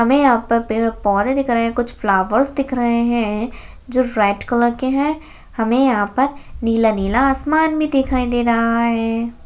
हमें यहां पर पेड़-पौधे दिख रहे हैं कुछ फ्लावर्स दिख रहे हैं जो रेड कलर के हैं हमें यहां पर नीला-नीला आसमान भी दिखाई दे रहा है।